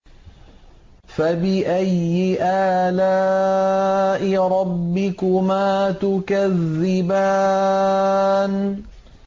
فَبِأَيِّ آلَاءِ رَبِّكُمَا تُكَذِّبَانِ